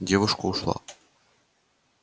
девушка ушла